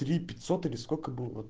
три пятьсот или сколько было